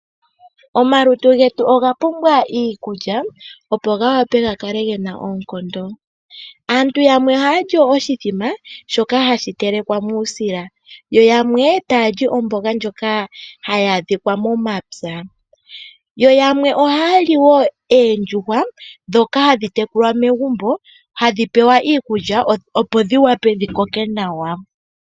Omalutu getu oga pumbwa iikulya opo ga vule ga kale gena oonkondo. Aantu yamwe ohaya li iimbombo mbyoka hayi telekwa muusila yo yamwe taya li omboga ndjoka hayi adhika momapya. Yo yamwe ohaya li wo oondjuhwa ndhoka hadhi tekulwa momagumbo hadhi pewa iikulya opo dhi vule dhi koke nawa.